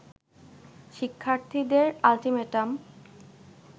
শিক্ষার্থীদের আল্টিমেটাম